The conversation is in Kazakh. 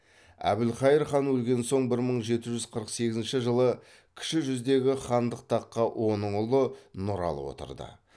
әбілқайыр хан өлген соң бір мың жеті жүз қырық сегізінші жылы кіші жүздегі хандық таққа оның ұлы нұралы отырды